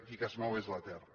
i el que es mou és la terra